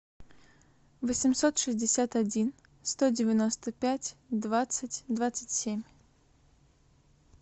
восемьсот шестьдесят один сто девяносто пять двадцать двадцать семь